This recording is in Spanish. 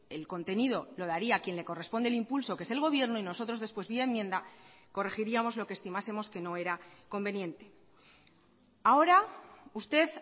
el contenido lo daría quien le corresponde el impulso que es el gobierno y nosotros después vía enmienda corregiríamos lo que estimásemos que no era conveniente ahora usted